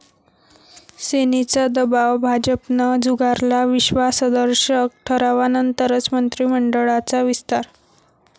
सेनेचा दबाव भाजपनं झुगारला, विश्वासदर्शक ठरावानंतरच मंत्रिमंडळाचा विस्तार'